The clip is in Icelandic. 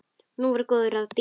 Nú voru góð ráð dýr!